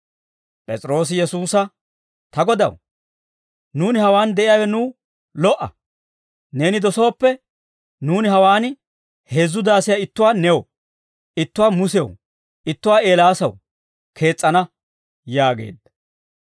P'es'iroosi Yesuusa, «Ta Godaw, nuuni hawaan de'iyaawe nuw lo"a; neeni dosooppe, nuuni hawaan heezzu daasiyaa ittuwaa new, ittuwaa Musew, ittuwaa Eelaasaw kees's'ana» yaageedda.